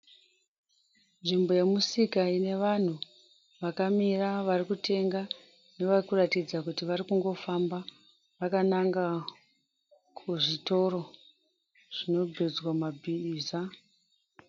Nvimbo yemusika ine vanhu vakamira varikutenga nevarikuratidza kuti varikungofamba vakananga kuzvitoro zvinobhejwa mabhiza.